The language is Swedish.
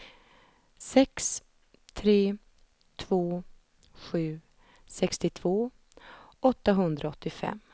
sex tre två sju sextiotvå åttahundraåttiofem